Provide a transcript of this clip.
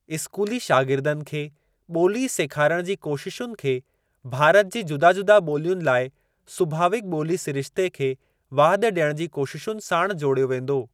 स्कूली शागिर्दनि खे ॿोली सेखारण जी कोशिशुनि खे भारत जी जुदा जुदा ॿोलियुनि लाइ सुभावीक ॿोली सिरिश्ते खे वाधि ॾियण जी कोशिशुनि साणु जोड़ियो वेंदो।